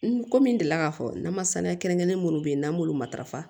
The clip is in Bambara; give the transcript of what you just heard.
N ko min deli la k'a fɔ n nama saniya kelen kelen minnu bɛ yen n'an b'olu matarafa